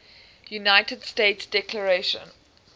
united states declaration